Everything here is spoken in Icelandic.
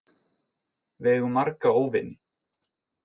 Við eigum marga óvini.